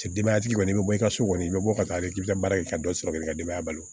Denbayatigi kɔni i bɛ bɔ i ka so kɔni i bɛ bɔ ka taa k'i ka baara kɛ ka dɔ sɔrɔ k'i ka denbaya balo